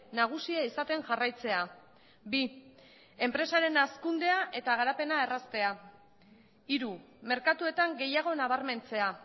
nagusia izaten jarraitzea bi enpresaren hazkundea eta garapena erraztea hiru merkatuetan gehiago nabarmentzea